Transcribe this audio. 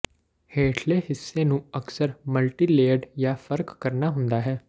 ਹੇਠਲੇ ਹਿੱਸੇ ਨੂੰ ਅਕਸਰ ਮਲਟੀਲੇਅਰਡ ਜਾਂ ਫਰਕ ਕਰਨਾ ਹੁੰਦਾ ਹੈ